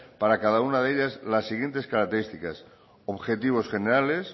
para cada una de ellas las siguientes características objetivos generales